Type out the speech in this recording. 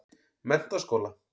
Menntaskóla